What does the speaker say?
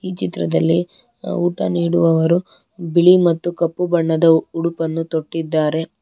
ಈ ಚಿತ್ರದಲ್ಲಿ ಊಟ ನೀಡುವವರು ಬಿಳಿ ಮತ್ತು ಕಪ್ಪು ಬಣ್ಣದ ಉಡುಪನ್ನು ತೊಟ್ಟಿದ್ದಾರೆ.